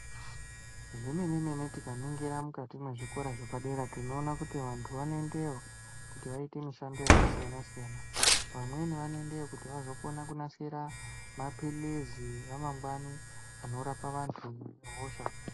Zvemene mene tikaningira mukati mwezvikora zvepadera tinoona kuti vantu vanoendeyo kuti vaite mishando yakasiyana siyana. Vamweni vanoendayo kuti vazonasira mapilizi ramangwani anorapa vantu vanehosha.